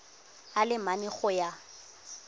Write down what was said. a le mane go ya